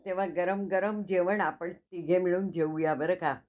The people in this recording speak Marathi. आवडीचा व्यवसाय तुझ्या electric च्या बदल काही सांगशील का